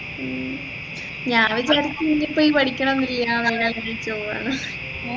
ഉം ഞാൻ വിചാരിച്ച് നി ഇപ്പൊ ഈ പഠിക്കാനൊന്നുമില്ല കല്യാണം കഴിച്ച് പോവുയാണ്